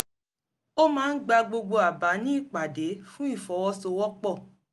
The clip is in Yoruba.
ó máa ń gba gbogbo àbá ní ìpàdé fún ìfọwọ́sowọ́pọ̀